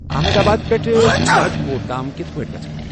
احمدآباد پٮ۪ٹھٕ راجکوٹ تام کِتھ پٲٹھۍ گژھہٕ بہٕ ؟